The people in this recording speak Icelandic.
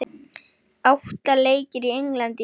Átta leikir í Englandi í dag